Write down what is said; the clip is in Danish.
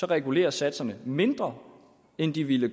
reguleres satserne mindre end de ville